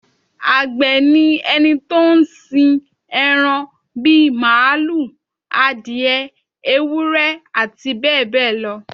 Àgbẹ̀ ni ẹni tó ń sin ẹran bí màlúù, adìẹ, ewúrẹ́ àti bẹ́ẹ̀ bẹ́ẹ̀ lọ